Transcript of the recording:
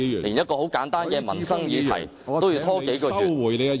連簡單的民生議題也要拖延數月。